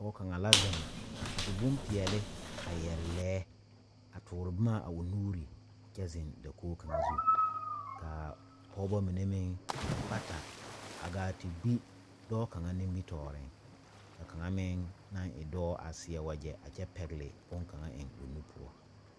Pɔgɔ kanga la zeŋ a su boŋ piɛle a yɛre leɛ a toore boma a o nuure kyɛ zeŋ dakoge kanga zu. Ka pɔgɔbɔ mene meŋ bata a gaa te gbi dɔɔ kanga nimitooreŋ. Ka kanga meŋ a e dɔɔ a seɛ wagye a kyɛ pɛgle boŋ kanga eŋ o nu poʊ.